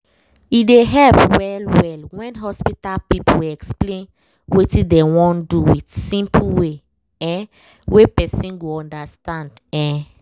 e dey help well-well when hospital people explain wetin dem wan do with simple way um wey person go understand um